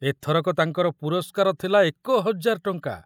ଏଥରକ ତାଙ୍କର ପୁରସ୍କାର ଥିଲା ଏକ ହଜାର ଟଙ୍କା।